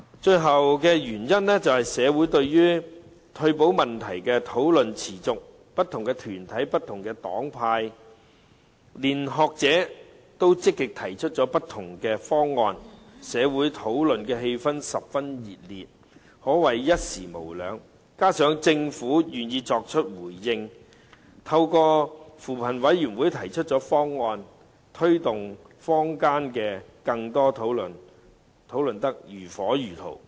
退保問題在社會上討論持續，不同團體、黨派和學者均積極提出不同方案，社會討論氣氛十分熱烈，可謂一時無兩，加上政府願意作出回應，透過扶貧委員會提出方案，更把坊間的討論推動得如火如荼。